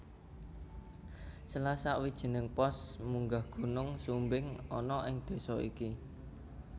Salah sawijining pos munggah Gunung Sumbing ana ing désa iki